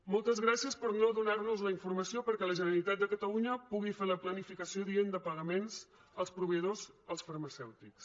moltes gràcies per no donar nos la informació perquè la generalitat de catalunya pugui fer la planificació adient de pagaments als proveïdors als farmacèutics